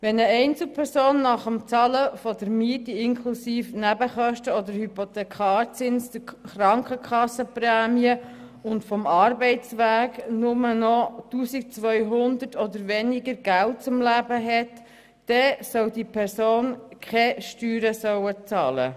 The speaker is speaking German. Wenn eine Einzelperson nach dem Bezahlen der Miete inklusive Nebenkosten, Hypothekarzins, Krankenkasse und Kosten für den Arbeitsweg nur noch 1200 Franken zum Leben hat, dann soll diese Person keine Steuern zahlen müssen.